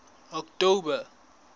october